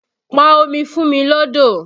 Pọn omi fún mi lọ́dọ̀!